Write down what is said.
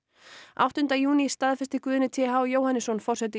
áttunda júní staðfesti Guðni t h Jóhannesson forseti